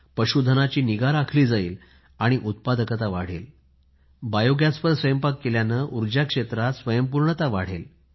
पशु धनाची निगा राखली जाईल आणि उत्पादकता वाढेल बायोगॅसने स्वयंपाक केल्याने उर्जा क्षेत्रात स्वयंपूर्णता वाढेल